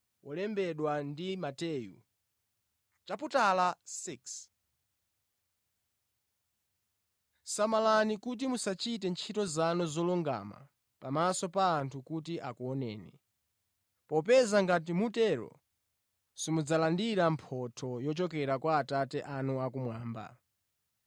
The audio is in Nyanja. “Samalani kuti musachite ntchito zanu zolungama pamaso pa anthu kuti akuoneni. Popeza ngati mutero simudzalandira mphotho yochokera kwa Atate anu akumwamba.